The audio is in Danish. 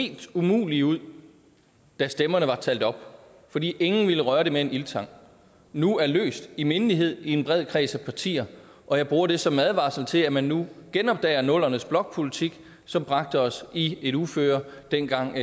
helt umulige ud da stemmerne var talt op fordi ingen ville røre det med en ildtang nu er løst i mindelighed i en bred kreds af partier og jeg bruger det som en advarsel til at man nu genopdager nullerne s blokpolitik som bragte os i et uføre dengang